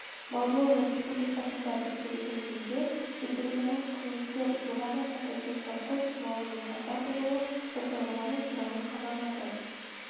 молдова республикасында тіркелген елде ветеринарлық қызметтер жоғары патогенді құс тұмауының пайда болу оқиғалары туралы хабарлады